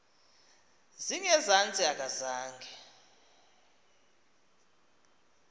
zinge zantsi akazange